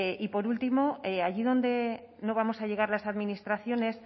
y por último allí donde no vamos a llegar las administraciones